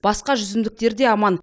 басқа жүзімдіктер де аман